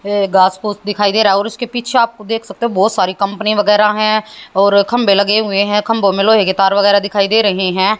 झे घास फूस दिखाई दे रहा है और उसके पीछे आप देख सकते हो बहोत सारी कंपनी वगैराह हैं और खंभे लगे हुए हैं खंभों में लोहे की तार वगैराह दिखाई दे रही है।